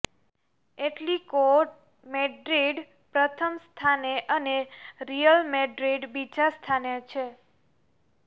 Atletico Madrid પ્રથમ સ્થાને અને રિયલ મેડ્રિડ બીજા સ્થાને છે